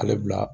Ale bila